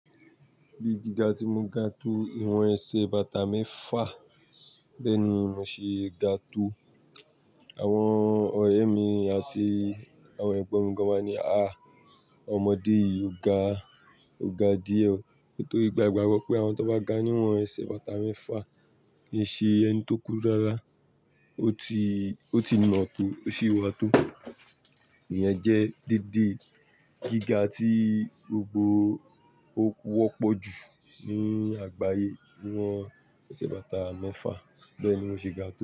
Bí gíga tí mo ga tó ìwọ̀n ẹsẹ̀ bàtà mẹ́fà, bẹ́ẹ̀ ni mo ṣe ga tó. Àwọn ọ̀rẹ́ mi àti àwọn ẹ̀gbọ́n mi gan wá ní, "aah! Ọmọdé yìí ó ga, ó ga díẹ̀ o." Nítorí a gbàgbọ́ pé àwọn tó bá ga níwọ̀n ẹsẹ̀ bàtà mẹ́fà kìí ṣe ẹni tó kúrú rárá, ó ti, ó ti nọ to, ó sì wà tó. Ìyẹn jẹ́ déédé gíga tí gbogbo ó wọ́pọ̀ jù ní àgbáyé, níwọ̀n ẹsẹ̀ bàtà mẹ́fà, bẹ́ẹ̀ ni mo ṣe ga tó.